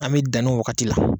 An bɛ dani waagati la.